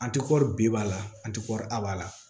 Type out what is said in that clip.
An ti kɔri bi ba la an ti kɔri abada la